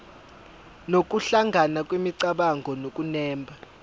nokuhlangana kwemicabango nokunemba